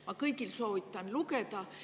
Ma soovitan seda kõigil lugeda.